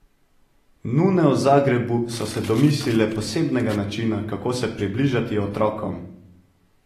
Nune v Zagrebu so se domislile posebnega načina, kako se približati otrokom.